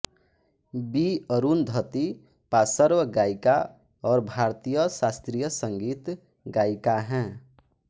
B Arundhati पार्श्व गायिका और भारतीय शास्त्रीय संगीत गायिका हैं